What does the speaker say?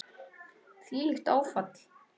Þvílíkt áfall.